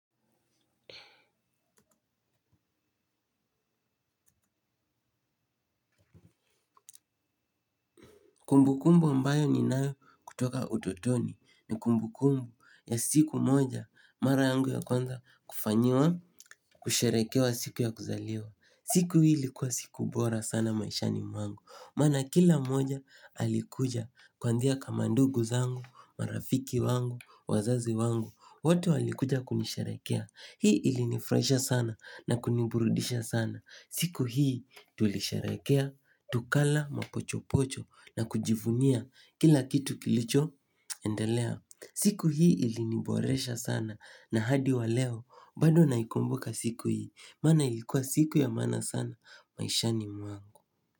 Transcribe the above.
Kumbu kumbu ambayo ni nayo kutoka utotoni ni kumbu kumbu ya siku moja mara yangu ya kwanza kufanyiwa kusharekewa siku ya kuzaliwa. Siku hi ilikua siku bora sana maishani mwangu. Mana kila moja alikuja kwa ndia kamandugu zangu, marafiki wangu, wazazi wangu, watu alikuja kunisharekea. Hii ili nifraisha sana na kuniburudisha sana. Siku hii tulisharekea, tukala mapochopocho na kujivunia kila kitu kilicho endelea. Siku hii iliniboresha sana na hadi wa leo bado naikumbuka siku hii. Mana ilikuwa siku ya mana sana maishani mwangu.